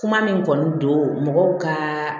Kuma min kɔni don mɔgɔw ka